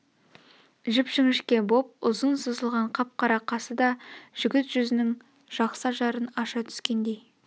жіп-жіңшке боп ұзын сызылған қап-қара қасы да жігіт жүзнің жақсы ажарын аша түскендей